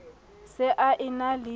se a e na le